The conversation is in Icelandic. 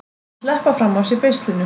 Að sleppa fram af sér beislinu